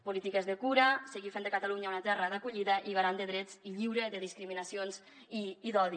polítiques de cura seguir fent de catalunya una terra d’acollida i garant de drets i lliure de discriminacions i d’odi